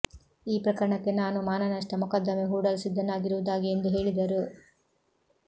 ಈ ಪ್ರಕರಣಕ್ಕೆ ನಾನು ಮಾನನಷ್ಟ ಮೊಕದ್ದಮೆ ಹೂಡಲು ಸಿದ್ಧನಾಗಿರುವುದಾಗಿ ಎಂದು ಹೇಳಿದರು